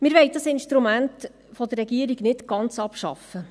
Wir wollen dieses Instrument der Regierung nicht ganz abschaffen.